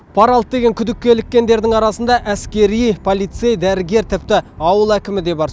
пара алды деген күдікке іліккендердің арасында әскери полицей дәрігер тіпті ауыл әкімі де бар